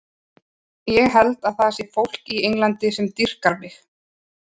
Ég held að það sé fólk í Englandi sem dýrkar mig.